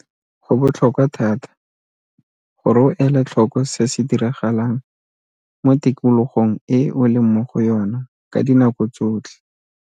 Go botlhokwa thata gore o ele tlhoko se se diragalang mo tikologong e o leng mo go yona ka dinako tsotlhe.